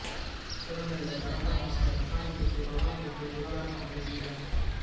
சுரண்டையில் parotta master மெக்கானிக்கிற்கு corona தொற்று சுகாதார பணிகள் தீவிரம்